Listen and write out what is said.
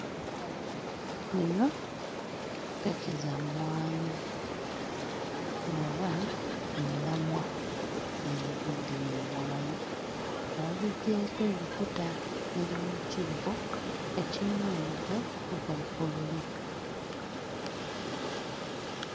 Eno mpeke za mmwanyi oba omulamwa oguvudde mu mmwanyi nga bagiggyeeko ebikuta eri mu kibbo ekirina omugo ogwa bbululu.